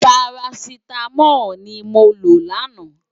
Párásitámòl ni mó ló làná